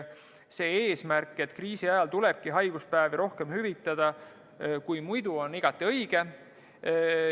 See eesmärk, et kriisi ajal tulebki haiguspäevi rohkem hüvitada kui muidu, on igati õige.